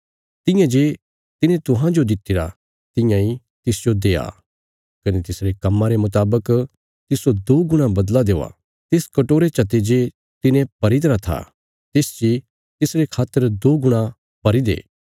तियां जे तिने तुहांजो दित्तिरा तियां इ तिसजो देआ कने तिसरे कम्मां रे मुतावक तिस्सो दो गुणा बदला देआ तिस कटोरे चते जे तिने भरी तरा था तिस ची तिसरे खातर दो गुणा भरी दे